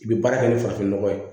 I bɛ baara kɛ ni farafin nɔgɔ ye